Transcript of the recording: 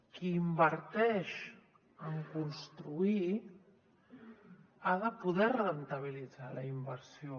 qui inverteix en construir ha de poder rendibilitzar la inversió